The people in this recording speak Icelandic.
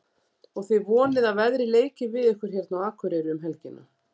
Og þið vonið að veðrið leiki við ykkur hérna á Akureyri um helgina?